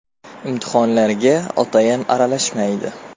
Imtihonlarga OTM aralashmaydi.